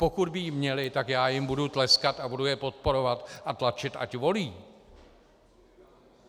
Pokud by ji měli, tak já jim budu tleskat a budu je podporovat a tlačit, ať volí.